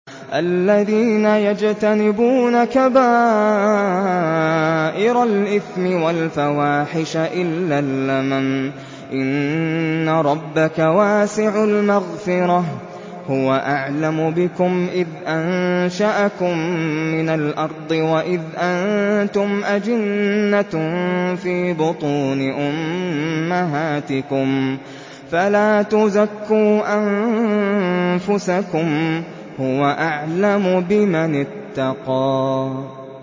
الَّذِينَ يَجْتَنِبُونَ كَبَائِرَ الْإِثْمِ وَالْفَوَاحِشَ إِلَّا اللَّمَمَ ۚ إِنَّ رَبَّكَ وَاسِعُ الْمَغْفِرَةِ ۚ هُوَ أَعْلَمُ بِكُمْ إِذْ أَنشَأَكُم مِّنَ الْأَرْضِ وَإِذْ أَنتُمْ أَجِنَّةٌ فِي بُطُونِ أُمَّهَاتِكُمْ ۖ فَلَا تُزَكُّوا أَنفُسَكُمْ ۖ هُوَ أَعْلَمُ بِمَنِ اتَّقَىٰ